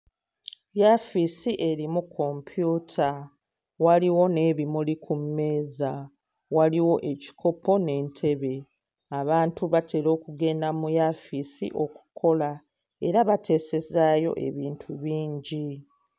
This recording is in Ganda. Yafiisi erimu kompyuta waliwo n'ebimuli ku mmeeza, waliwo ekikopo n'entebe. Abantu batera okugenda mu yaafiisi okukola era bateesezaayo ebintu bingi.